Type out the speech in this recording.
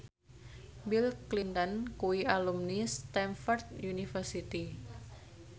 Bill Clinton kuwi alumni Stamford University